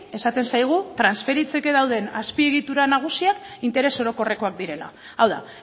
esaten zaigu transferitzeke dauden azpiegitura nagusiak interes orokorrekoak direla hau da